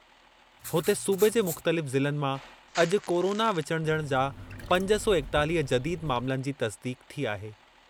हुते, सूबे जे मुख़्तलिफ़ ज़िलनि मां अॼु कोरोना विचुड़जणु जा पंज सौ एकतालीह जदीद मामलनि जी तस्दीक़ थी आहे।